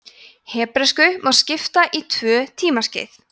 hebresku má skipta í tvö tímaskeið